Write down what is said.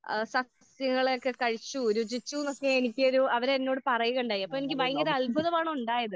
സദ്യകളൊക്കെ കഴിച്ചു രുചിച്ചു ന്നൊക്കെ എനിക്കൊരു അവരെന്നോട് പറയുകയുണ്ടായി. അപ്പൊ എനിക്ക് ഭയങ്കര അത്ഭുതമാണ് ഉണ്ടായത്.